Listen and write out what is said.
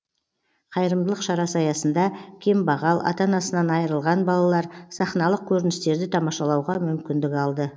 қайырымдылық шарасы аясында кембағал ата анасынан айырылған балалар сахналық көріністерді тамашалауға мүмкіндік алды